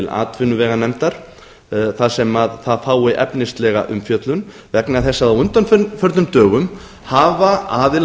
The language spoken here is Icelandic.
atvinnuveganefndar þar sem það fái efnislega umfjöllun vegna þess að á undanförnum dögum hafa aðilar